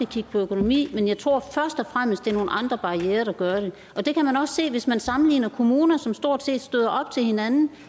kigge på økonomi men jeg tror at det først og fremmest er nogle andre barrierer der gør det og det kan man også se hvis man sammenligner kommuner som stort set støder op til hinanden